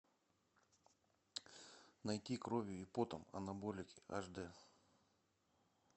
найти кровью и потом анаболики аш дэ